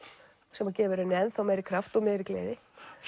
sem að gefur henni ennþá meiri kraft og meiri gleði